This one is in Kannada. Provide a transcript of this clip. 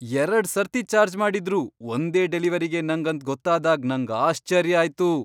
ಎರಡ್ ಸರ್ತಿ ಚಾರ್ಜ್ ಮಾಡಿದ್ರು ಒಂದೇ ಡೆಲಿವರಿಗೆ ನಂಗ್ ಅಂತ್ ಗೊತ್ತಾದಾಗ್ ನಂಗ್ ಆಶ್ಚರ್ಯ ಆಯ್ತು.!